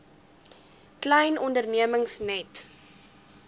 klein ondernemings net